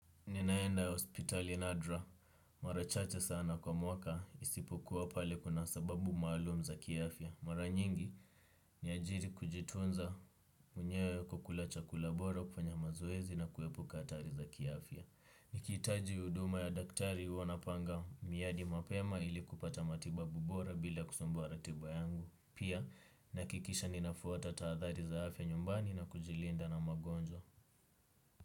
Ninaenda hospitalini nadra. Mara chache sana kwa mwaka, isipokuwa pale kuna sababu maalum za kiafya. Mara nyingi ni kwa ajili ya kujitunza mwenyewe kwa kula chakula bora, kufanya mazoezi na kuepuka hatari za kiafya. Nikitaji huduma ya daktari, huandaa miadi mapema ili kupata matibabu bora bila kusumbua ratiba yangu. Pia nihakikishe ninafuata tahadhari za afya nyumbani na kujilinda na magonjwa.